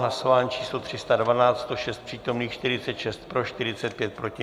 Hlasování číslo 312, 106 přítomných, 46 pro, 45 proti.